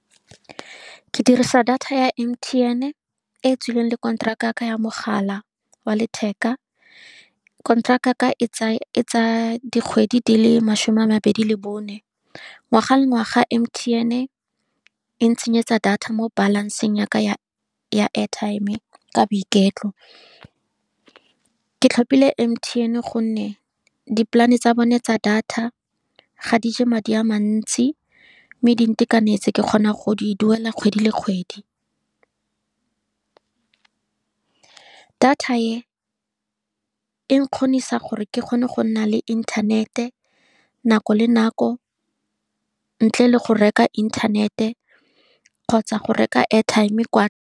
Ke dirisa data ya M_T_N e e tswileng le konteraka ya ka ya mogala wa letheka. Konteraka ya ka e e tsaya dikgwedi di le masome a mabedi le bone, ngwaga le ngwaga M_T_N e ntsenyetsa data mo balance-ng ya ka ya-ya airtime ka boiketlo. Ke tlhopile M_T_N, ka gonne di-plan-e tsa bone tsa data ga di je madi a mantsi, mme di ntekanetse. Ke kgona go di duela kgwedi le kgwedi. Data e, e nkgonisa gore ke kgone go nna le inthanete nako le nako, ntle le go reka inthanete kgotsa go reka airtime kwa.